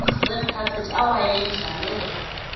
red carpet awayendlalelwe